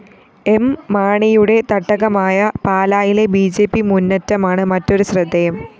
M മാണിയുടെ തട്ടകമായ പാലായിലെ ബി ജെ പി മുന്നറ്റമാണ് മറ്റൊരു ശ്രദ്ധേയം